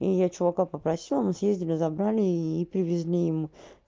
и я чувака попросила мы съездили забрали и привезли ему